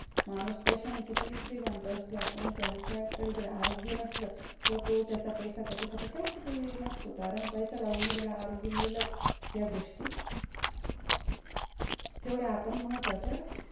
माणुस पैशाने कितीही श्रीमंत असला पण त्याच्याकडे जर आरोग्य नसलं तो त्याचा पैसा त्याच्यासाठी काहीच उपयोगी नसतो कारण पैसा लावुनही त्याला आरोग्य मिळेलच या गोष्टी तेवढ्या आपण महत्वाच्या